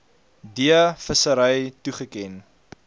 d vissery toegeken